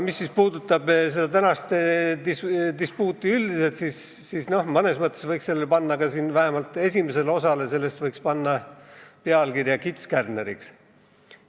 Mis aga puudutab tänast dispuuti üldiselt, siis mõnes mõttes võiks vähemalt selle esimesele osale panna pealkirja "Kits kärneriks".